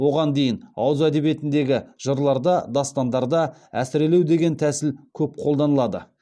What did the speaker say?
оған дейін ауыз әдебиетіндегі жырларда дастандарда әсірелеу деген тәсіл көп қолданылады